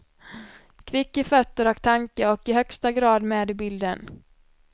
Kvick i fötter och tanke och i högsta grad med i bilden.